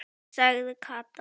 sagði Kata.